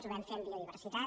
ho vam fer amb biodiversitat